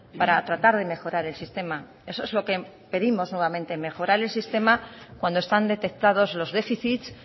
para tratar de mejorar el sistema eso es lo que pedimos nuevamente mejorar el sistema cuando están detectados los déficits